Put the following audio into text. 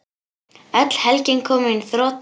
Öll helgin komin í þrot.